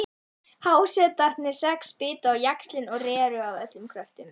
Hásetarnir sex bitu á jaxlinn og réru af öllum kröftum.